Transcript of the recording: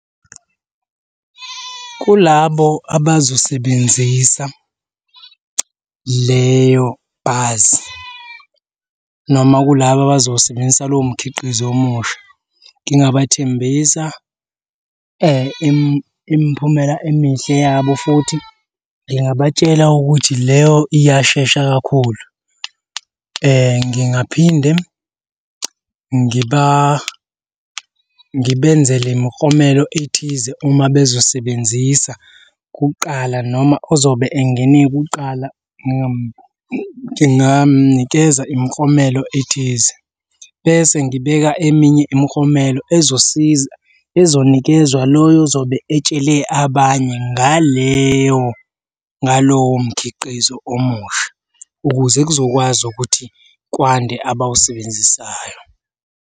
Kulabo abazosebenzisa leyo bhasi noma kulaba abazosebenzisa lowo mkhiqizo omusha, ngingathembisa imiphumela emihle yabo futhi ngingabatshela ukuthi leyo iyashesha kakhulu. Ngingaphinde ngibenzele imiklomelo ethize uma bezosebenzisa kuqala noma ozobe engene kuqala gingamunikeza imiklomelo ethize bese ngibeka eminye imiklomelo ezosiza ezonikezwa loyo ozobe etshele abanye ngaleyo, ngalowo mkhiqizo omusha, ukuze kuzokwazi ukuthi kwande abawusebenzisayo.